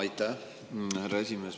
Aitäh, härra esimees!